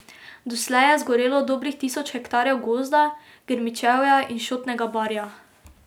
Doslej je zgorelo dobrih tisoč hektarjev gozda, grmičevja in šotnega barja.